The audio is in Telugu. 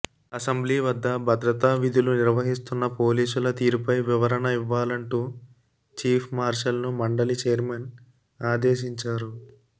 అసెంబ్లీ వద్ద భద్రతా విధులు నిర్వహిస్తున్న పోలీసుల తీరుపై వివరణ ఇవ్వాలంటూ చీఫ్ మార్షల్ ను మండలి చైర్మన్ ఆదేశించారు